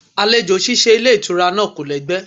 Àlejò ṣíṣe ilé ìtura náà kò lẹ́gbẹ́.